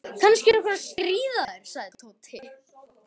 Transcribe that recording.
Kannski er einhver að stríða þér sagði Tóti.